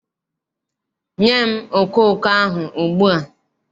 Nye m okooko ahụ ugbu a!